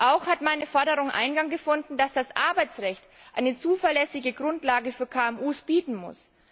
Auch hat meine Forderung Eingang gefunden, dass das Arbeitsrecht eine zuverlässige Grundlage für KMU bieten muss.